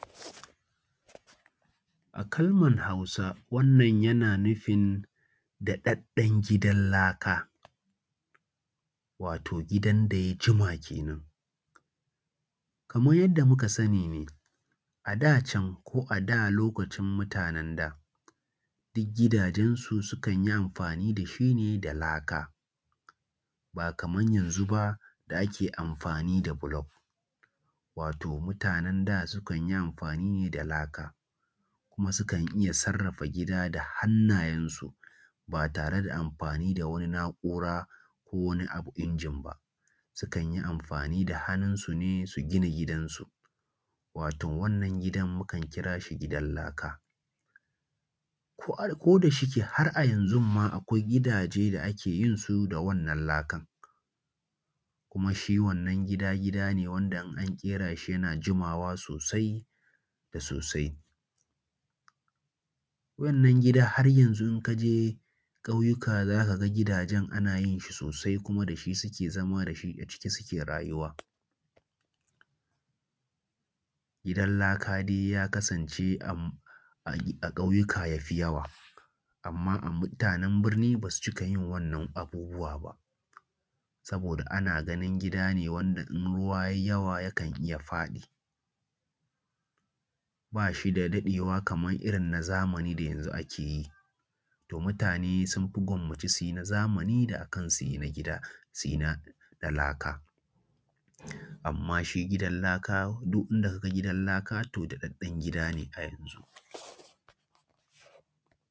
A kalmar Hausa, wannan yana nufin daɗaɗɗen gidan laka, wato gidan da ya jima kenan. Kamar yanda muka sani ne a da can ko a da lokacin mutanen da duk gidajen su sukan yi amfani da shi ne da laka, ba kamar yanzu ba da ake amfani da block. Wato mutanen da sukan yi amfani ne da laka, kuma sukan iya sarrafa gida da hannayensu ba tare da amfani da wani na’ura ko wani abu injin ba, sukan yi amfani da hannunsu ne su gina gidansu, wato wannan gidan mukan kira shi gidan laka. Ko da shike har a yanzun ma akwai gidaje da ake yinsu da wannan lakan, kuma shi wannan gida gida ne wanda in an ƙera shi yana jimawa sosai da sosai. Wannan gida har yanzu in ka je ƙauyuka za ka ga gidajen ana yin shi sosai, kuma da shi suke zama da shi aciki suke rayuwa. Gidan laka dai ya kasance a ƙauyuka yafi yawa, amma a mutanen birni basu cika yin wannan abubuwa ba, saboda ana ganin gida ne wanda in ruwa ya yi yawa yakan iya faɗi, ba shi da daɗewa kamar irin na zamani da yanzu ake yi, to mutane sun fi gwammace su yi na zamani akan su yin a gida, su yi na laka. Amma shi na laka, duk inda ka ga gidan laka to daɗaɗɗen gida ne a yanzu.